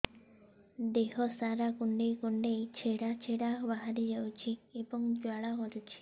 ଦେହ ସାରା କୁଣ୍ଡେଇ କୁଣ୍ଡେଇ ଛେଡ଼ା ଛେଡ଼ା ବାହାରି ଯାଉଛି ଏବଂ ଜ୍ୱାଳା କରୁଛି